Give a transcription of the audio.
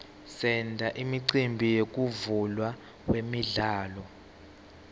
senta imicimbi yekuvulwa kwemidlalo